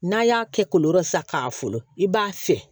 N'a y'a kɛ kooro sa k'a wolo i b'a fiyɛ